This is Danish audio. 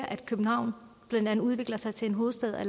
at københavn udvikler sig til en hovedstad